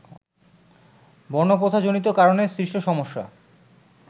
বর্ণপ্রথাজনিত কারণে সৃষ্ট সমস্যা